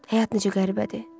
Həyat necə qəribədir?